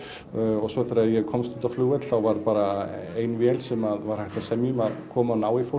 og svo þegar ég komst út á flugvöll þá var bara ein vél sem var hægt að semja um að koma og ná í fólk